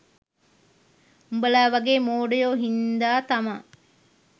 උඹලා වගේ මෝඩයෝ හින්දා තමා